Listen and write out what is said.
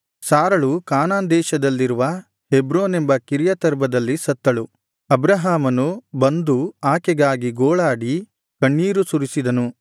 ಸಾರಳು ಕಾನಾನ್ ದೇಶದಲ್ಲಿರುವ ಹೆಬ್ರೋನೆಂಬ ಕಿರ್ಯತರ್ಬದಲ್ಲಿ ಸತ್ತಳು ಅಬ್ರಹಾಮನು ಬಂದು ಆಕೆಗಾಗಿ ಗೋಳಾಡಿ ಕಣ್ಣೀರು ಸುರಿಸಿದನು